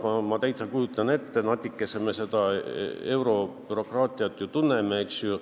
Ma kujutan seda täitsa ette, natukene me eurobürokraatiat ju tunneme, eks ole.